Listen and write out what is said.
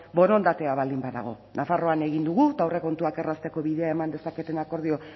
borondatea baldin badago nafarroan egin dugu eta aurrekontuak errazteko bidea eman dezaketen akordio